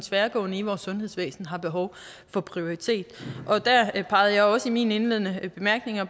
tværgående i vores sundhedsvæsen har behov for prioritering der pegede jeg også i mine indledende bemærkninger